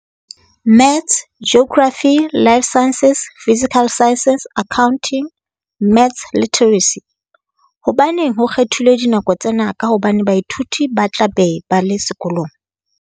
Maths Geography Life Sciences Physical Sciences Accounting Maths Literacy. Hobaneng ho kgethilwe dinako tsena ka hobane baithuti ba tla be ba le sekolong?